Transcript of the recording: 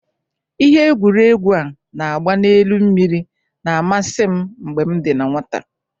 Ihe egwuregwu a na-agba n'elu mmiri na-amasi m mgbe m dị na nnwata.